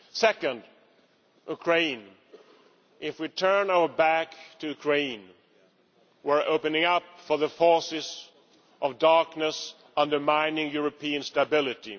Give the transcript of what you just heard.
Second, Ukraine if we turn our back on Ukraine, we are creating an opening for the forces of darkness undermining European stability.